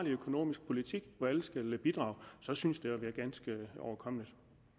økonomisk politik hvor alle skal bidrage så synes det at være ganske overkommeligt